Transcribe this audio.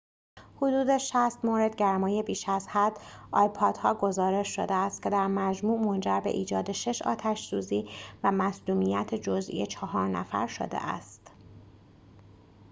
حدود ۶۰ مورد گرمای بیش از حد آیپاد‌ها گزارش شده است که در مجموع منجر به ایجاد شش آتش سوزی و مصدومیت جزئی چهار نفر شده است